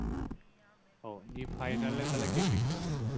ও দিয়ে final তাহলে কে কে খেললো?